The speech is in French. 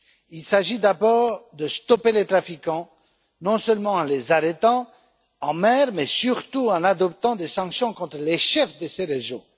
Il s'agit d'abord de stopper les trafiquants, non seulement en les arrêtant en mer, mais surtout en adoptant des sanctions contre les chefs de ces régions.